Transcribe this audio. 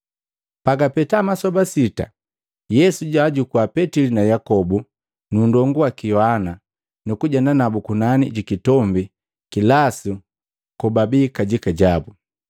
Pagapeta masoba sita, Yesu jwaajukua Petili na Yakobu nundongu waki Yohana nukujenda nabu kunani ji kitombi kilasu kobabii kajika jabu.